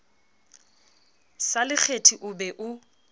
sa lekgethi o be o